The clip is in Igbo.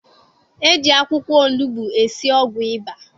E ji akwụkwọ onugbu esi ọgwụ ịba